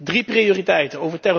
Drie prioriteiten.